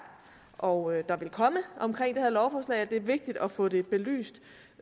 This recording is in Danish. og der vil komme omkring det her lovforslag det er vigtigt at få det belyst